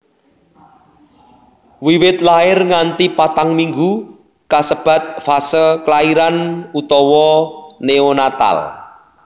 Wiwit lair nganti patang minggu kasebat fase klairan utawa neonatal